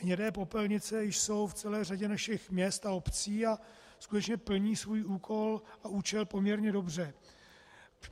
Hnědé popelnice jsou v celé řadě našich měst a obcí a skutečně plní svůj úkol a účel poměrně dobře.